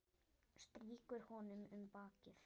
Strýkur honum um bakið.